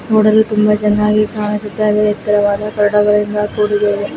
ನೋಡಲು ತುಂಬಾ ಚೆನ್ನಾಗಿ ಕಾಣಿಸುತ್ತಾಯಿದೆ. ಎತ್ತರವಾದ ಕರ್ಣಗಳಿಂದ ಕೂಡಿದವೆ --.